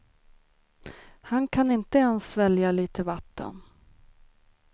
Han kan inte ens svälja lite vatten.